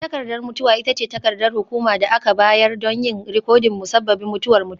Takardar mutuwa ita ce takardar hukuma da aka bayar don yin rikodin musabbabin mutuwar mutum.